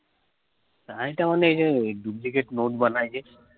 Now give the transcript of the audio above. এটা ওই duplicate note বানায়ে যে